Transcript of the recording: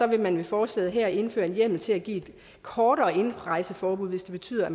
vil man med forslaget her indføre en hjemmel til at give et kortere indrejseforbud hvis det betyder at